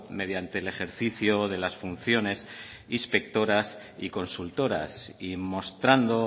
mediante el ejercicio de las funciones inspectoras y consultoras y mostrando